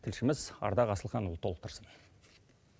тілшіміз ардақ асылханұлы толықтырсын